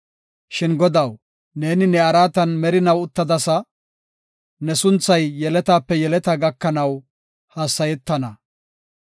Shin Godaw, neeni ne araatan merinaw uttadasa; ne sunthay yeletaape yeletaa gakanaw hassayetana.